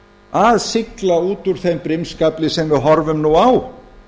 að sigla út úr þeim brimskafli sem við horfum nú á